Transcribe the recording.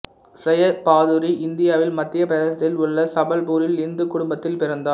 செய பாதுரி இந்தியாவில் மத்திய பிரதேசத்தில் உள்ள சபல்பூரில் இந்துக் குடும்பத்தில் பிறந்தார்